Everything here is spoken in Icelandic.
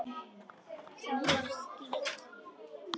Það var skítt.